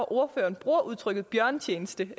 ordføreren bruger udtrykket bjørnetjeneste